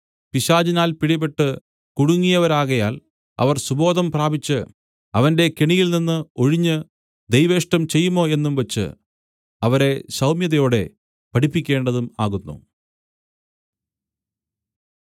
പിശാചിനാൽ പിടിപെട്ടു കുടുങ്ങിയവരാകയാൽ അവർ സുബോധം പ്രാപിച്ച് അവന്റെ കെണിയിൽനിന്ന് ഒഴിഞ്ഞ് ദൈവേഷ്ടം ചെയ്യുമോ എന്നും വച്ച് അവരെ സൗമ്യതയോടെ പഠിപ്പിക്കേണ്ടതും ആകുന്നു